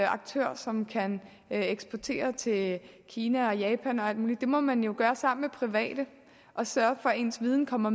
aktør som kan eksportere til kina og japan og alt muligt det må man gøre sammen med private og sørge for at ens viden kommer